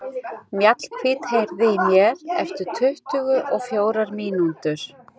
Mjallhvít, heyrðu í mér eftir tuttugu og fjórar mínútur.